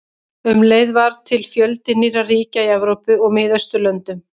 Um leið varð til fjöldi nýrra ríkja í Evrópu og Miðausturlöndum.